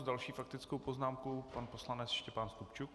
S další faktickou poznámkou pan poslanec Štěpán Stupčuk.